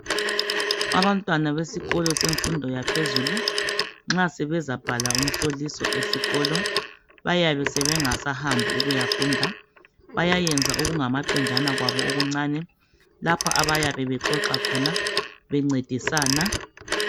Abantwana besikolo yemfundo yaphezulu nxa sebe zabhala imihloliso esikolo bayabe bengasahambi ukuyafunda bayayenza okungamaqenjana kwabo omuncani lapho abayabe bexoxa khona bengcedisana